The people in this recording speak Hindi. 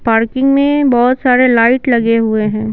पार्किंग में बहुत सारे लाइट लगे हुए हैं।